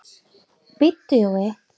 BÍDDU JÓI.